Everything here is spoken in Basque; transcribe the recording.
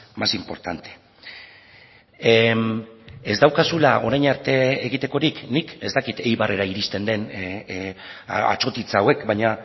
más importante ez daukazula orain arte egitekorik nik ez dakit eibarrera iristen den atsotitz hauek baina